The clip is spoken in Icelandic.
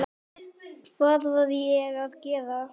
Hvað var ég að gera.?